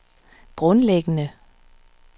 grundlæggende